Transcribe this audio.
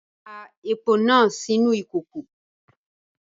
Da epo náà sínú ìkòkò!